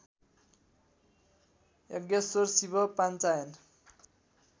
Yajneshwar Shiva Panchayan